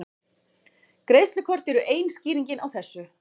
Greiðslukort eru ein skýringin á þessu.